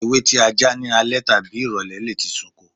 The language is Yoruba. Ewé tí a já ní alẹ́ tàbí ìrọ̀lẹ́ lè ti sunko.